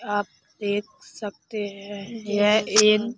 आप देख सकते हैं यह एक--